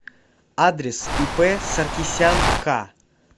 адрес ип саркисян ка